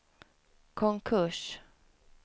konkurs